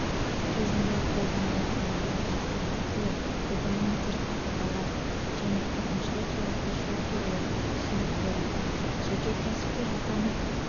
кезінде қолданылатын нормативтік актілер регламенттер қағидалар және әкімшілік жауапкершілік туралы түсінік берілді жеке кәсіпкер атанып